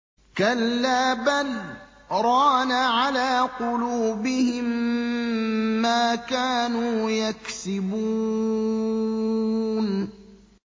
كَلَّا ۖ بَلْ ۜ رَانَ عَلَىٰ قُلُوبِهِم مَّا كَانُوا يَكْسِبُونَ